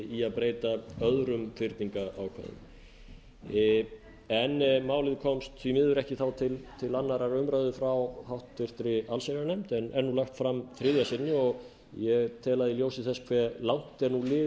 í að breyta öðrum fyrningarákvæðum en málið komst því miður ekki til annarrar umræðu frá háttvirta allsherjarnefnd en er nú lagt fram þriðja sinni og ég tel að í ljósi þess hversu langt er nú liðið frá hruni